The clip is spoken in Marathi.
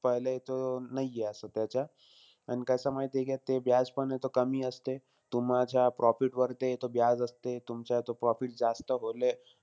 पहिले तो, नाहीये असं त्याच्यात. पण कसंय माहितीय का ते पण आहे तो कमी असते. तुमच्या profit वर ते तो असते. तुमचा तो profit जास्त होले,